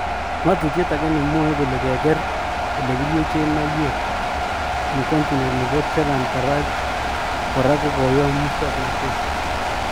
Ngotutyet ake nemwoe kole keger elekiryechen maiwek eng continet nebo Tehran- Karaj, kora kokoyom musoknotet.